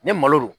Ni malo don